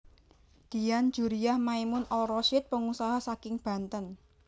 Dian Djuriah Maimun Al Rasyid pengusaha saking Banten